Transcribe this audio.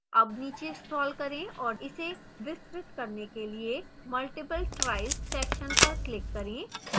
अब नीचे scroll करें और इसे विस्तृत करने के लिए multiple tries section पर click करें